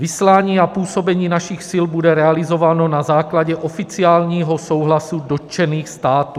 Vyslání a působení našich sil bude realizováno na základě oficiálního souhlasu dotčených států.